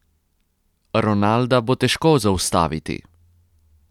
Ronalda bo težko zaustaviti.